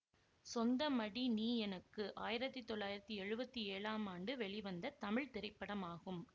சொந்தமடி நீ எனக்கு ஆயிரத்தி தொள்ளாயிரத்தி எழுவத்தி ஏழாம் ஆண்டு வெளிவந்த தமிழ் திரைப்படமாகும்